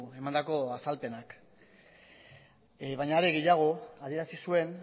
emandako azalpenak baina are gehiago adierazi zuen